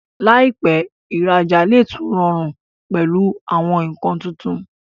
láìpé, ìra'jà lè tún rọrùn pẹ̀lú àwọn nǹkan tuntun